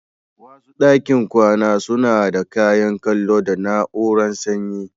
Wasu ɗakin kwana suna da kayan kallo da na'urar sanyi.